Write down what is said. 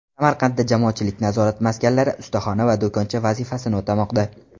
Samarqandda jamoatchilik nazorat maskanlari ustaxona va do‘koncha vazifasini o‘tamoqda.